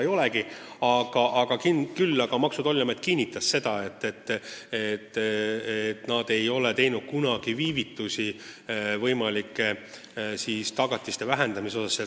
Ning Maksu- ja Tolliamet kinnitas, et nad ei ole kunagi võimalike tagatiste vähendamisega viivitanud.